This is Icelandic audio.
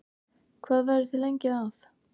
Hvað verðið þið lengi að?